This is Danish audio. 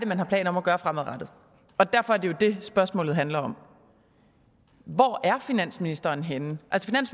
man har planer om at gøre fremadrettet og derfor er det jo det spørgsmålet handler om hvor er finansministeren henne